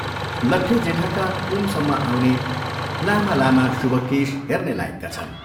लट्टे जेठाका कुमसम्म आउने लामा लामा शुभ केश हेर्ने लायकका छन्।